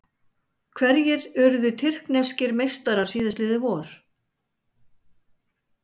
Hverjir urðu tyrkneskir meistarar síðastliðið vor?